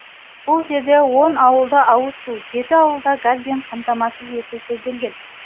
бұл жерде он ауылда ауыз су жеті ауылда газбен қамтамасыз ету көзделген